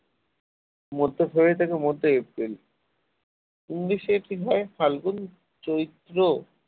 মধ্য ফেব্রুয়ারী থেকে মধ্য এপ্রিল english এটি হয় ফাল্গুন চৈত্র